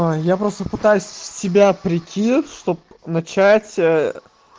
а я просто пытаюсь в тебя прийти чтобы начать